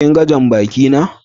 kin gan jam-baki na?